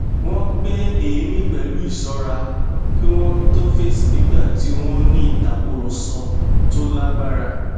wón gbé èémí pẹlú ìṣọra kí wón tó fèsì nígbà tí wón n ní ìtakúrọsọ tó lágbára